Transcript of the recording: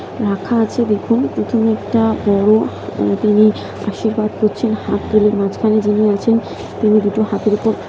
রাখা আছে দেখুন এটা একটা বড়ো--তিনি আশীর্বাদ করছেন হাত তুলে মাঝখানে যিনি আছেন তিনি দুটো হাতের উপর--